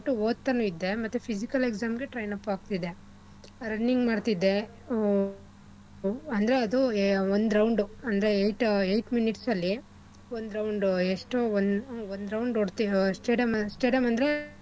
ಓದ್ತಾನು ಇದ್ದೇ ಮತ್ತೆ physical exam ಗೆ train up ಆಗ್ತಿದ್ದೆ. running ಮಾಡ್ತಿದ್ದೆ. ಆ ಅಂದ್ರೆ ಅದು ಒಂದ್ round ಅಂದ್ರೆ eight eight minutes ಅಲ್ಲಿ ಒಂದ್ round ಎಷ್ಟೋ ಒಂದ್ ಒಂದ್ round ಓಡ್ತೀವಿ stadium stadium ಅಂದ್ರೆ,